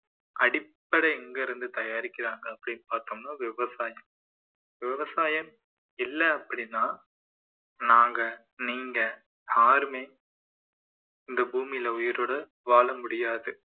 அடிப்படை எங்க இருந்து தயாரிக்கிறாங்க அப்படின்னு பார்த்தோம்னா விவசாயம் விவசாயம் இல்லை அப்படின்னா நாங்க, நீங்க யாருமே இந்த பூமியில உயிரோட வாழ முடியாது